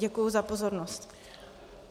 Děkuji za pozornost.